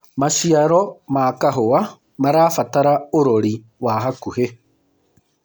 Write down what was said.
maciaro ma kahũa marabatara urori wa hakuhi